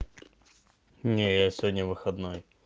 не я сегодня выходной